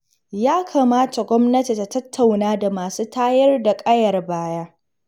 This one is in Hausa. Ya kamata gwamnati ta tattauna da masu tayar da ƙayar baya.